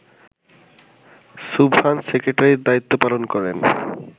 সুবহান সেক্রেটারির দায়িত্ব পালন করেন